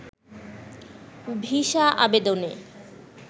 visa আবেদনে